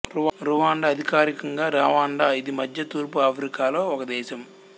Rwanda అధికారికంగా Rwanda ఇది మధ్య తూర్పు ఆఫ్రికాలో ఒక దేశం